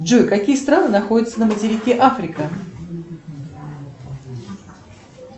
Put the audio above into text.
джой какие страны находятся на материке африка